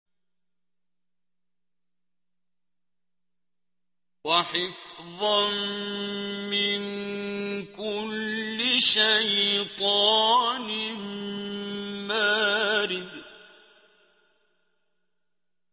وَحِفْظًا مِّن كُلِّ شَيْطَانٍ مَّارِدٍ